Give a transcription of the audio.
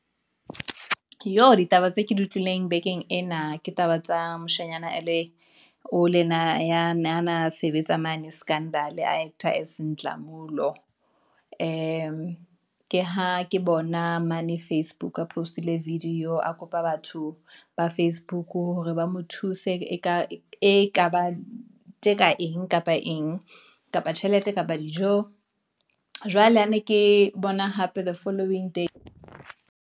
Jo ditaba tse ke di utlwileng bekeng, ena, ke taba tsa moshanyana, elwe, o le ya na sebetsa mane scandal a actor as Nhlamulo. Ke ha ke bona mane facebook, post-ile video a kopa batho ba facebook hore ba mo thuse e ka bang tje ka eng kapa eng kapa tjhelete kapa dijo. Jwale ha ne ke bona hape the following day.